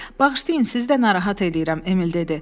“Bağışlayın, sizi də narahat eləyirəm,” Emil dedi.